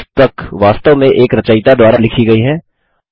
एक पुस्तक वास्तव में एक रचयिता द्वारा लिखी गयी है